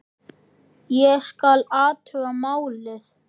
Ég skal athuga málið